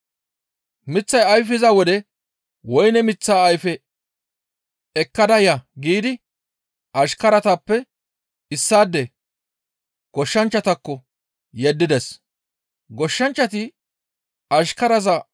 Miththay ayfiza wode woyne miththaa ayfe ekkada ya giidi ashkaratappe issaade goshshanchchatakko yeddides. Maccassi ba naara woyne gum7izasoho woyne ayfe ehishin